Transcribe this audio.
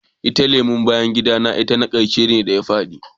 Itacen lemun bayan gida ne na karshe da ya fadi.